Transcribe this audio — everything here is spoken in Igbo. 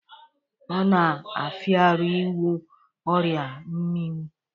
Ọ na-afịaru ịgwọ oria mminwụ